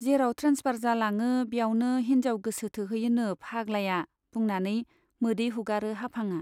जेराव ट्रेन्सफार जालाङो ब्यावनो हिन्जाव गोसो थोहैयोनो फाग्लाया बुंनानै मोदै हुगारो हाफांआ।